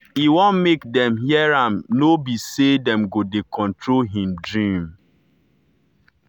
e wan make dem hear am no be say dem go dey control him dream.